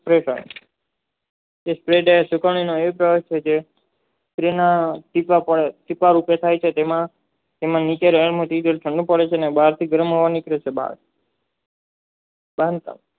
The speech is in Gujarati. કે જે દયે પોતાની સિક રૂપે થાય છે જેમાં નીચે